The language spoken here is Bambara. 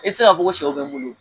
E ti se k'a fɔ ko sɛw bɛ n bolo